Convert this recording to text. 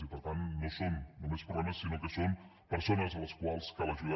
i per tant no són només problemes sinó que són persones a les quals cal ajudar